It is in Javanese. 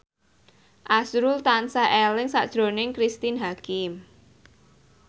azrul tansah eling sakjroning Cristine Hakim